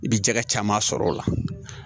I bi jɛgɛ caman sɔrɔ o la